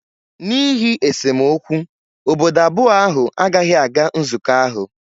n'ihi esemokwu obodo abụọ ahụ agaghị aga nzukọ ahụ